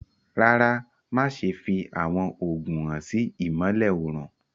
Rárá, má ṣẹ̀ fì awọn oogun hàn sí ìmọ̀lẹ̀ õrùn.